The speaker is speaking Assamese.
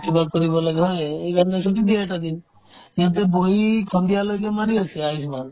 কিবা কৰিব লাগে হয়নে সেইকাৰণে ছুটী দিয়ে এটা দিন সিহঁতে বহি সন্ধিয়ালৈকে মাৰি আছে আয়ুষ্মামান